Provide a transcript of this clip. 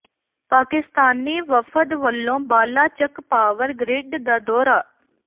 ਪਾਕਿਸਤਾਨੀ ਵਫ਼ਦ ਵੱਲੋਂ Bala Chak power grid ਦਾ ਦੌਰਾ